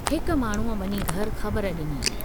हिक माण्हूअ वञी घर ख़बर डिनी।